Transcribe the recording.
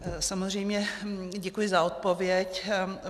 Samozřejmě děkuji za odpověď.